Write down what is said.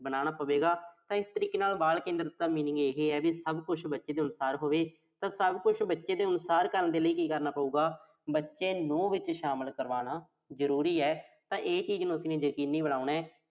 ਬਣਾਉਣਾ ਪਵੇਗਾ ਤਾਂ ਇਸ ਤਰੀਕੇ ਦੇ ਨਾਲ ਬਾਲ ਕੇਂਦਰਤ ਦਾ meaning ਇਹ ਆ ਵੀ, ਸਭ ਕੁਸ਼ ਬੱਚੇ ਦੇ ਅਨੁਸਾਰ ਹੋਵੇ ਤਾਂ ਸਭ ਕੁਸ਼ ਬੱਚੇ ਦੇ ਅਨੁਸਾਰ ਕਰਨ ਲਈ ਕੀ ਕਰਨਾ ਪਊਗਾ। ਬੱਚੇ ਨੂੰ ਵਿੱਚ ਸ਼ਾਮਲ ਕਰਵਾਉਣਾ ਜ਼ਰੂਰੀ ਆ। ਤਾਂ ਇਹ ਚੀਜ਼ ਨੂੰ ਅਸੀਂ ਨੇ ਯਕੀਨੀ ਬਣਾਉਣਾ